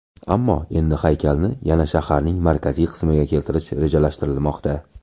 Ammo endi haykalni yana shaharning markaziy qismiga keltirish rejalashtirilmoqda.